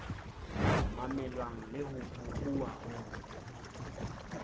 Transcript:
mamelwang le ho bohuwa hong